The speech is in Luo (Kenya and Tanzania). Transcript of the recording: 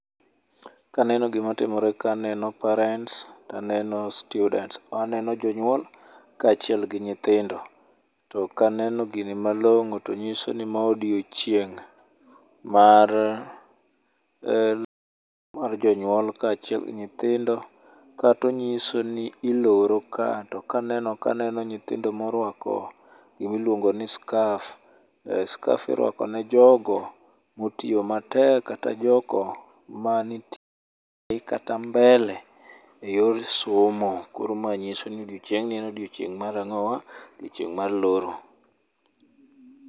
Kaneno gima timore kae to aneno parents to aneno students. Aneno jonyuol kaachiel gi nyithindo, to kaneno gini malong'o to nyiso ni mae odiechieng' mar jonyuol kaachiel gi nyithindo, kata onyiso ni iloro ka. Kato aneno nyithindo moruako gima iluongo ni scarf. Scarf iruako ne jogo motiyo matek kata jogo manitie kata mbele eyor somo. Koro mae nyiso ni odiechiengni e odiechieng' ,mar ang'owa, odiechieng' mar loro.